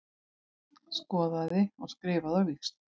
Skoðaði og skrifaði á víxl.